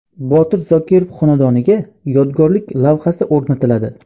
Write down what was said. Botir Zokirov xonadoniga yodgorlik lavhasi o‘rnatiladi.